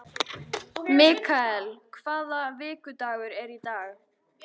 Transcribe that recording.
Mikael, hvaða vikudagur er í dag?